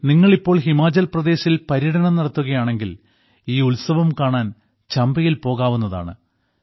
നിങ്ങൾ ഇപ്പോൾ ഹിമാചൽ പ്രദേശിൽ പര്യടനം നടത്തുകയാണെങ്കിൽ ഈ ഉത്സവം കാണാൻ ചമ്പയിൽ പോകാവുന്നതാണ്